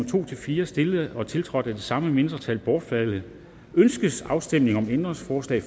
to fire stillet og tiltrådt af de samme mindretal bortfaldet ønskes afstemning om ændringsforslag